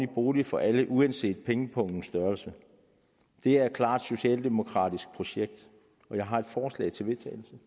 bolig for alle uanset pengepungens størrelse det er et klart socialdemokratisk projekt jeg har et forslag til vedtagelse